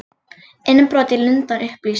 Innbrot í Lundann upplýst